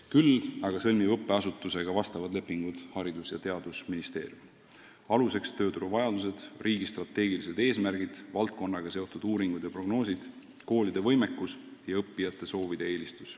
Õppeasutustega sõlmib sellekohaseid lepinguid Haridus- ja Teadusministeerium, võttes arvesse tööturu vajadusi, riigi strateegilisi eesmärke, valdkonnaga seotud uuringuid ja prognoose, koolide võimekust ja õppijate soove.